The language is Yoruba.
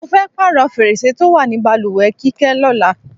Mo fé̩ pààrò̩ fèrèsé tó wà ní balùwè̩ Kíké̩ ló̩la.